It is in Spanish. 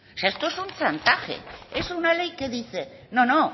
esto es un chantaje es una ley que dice no no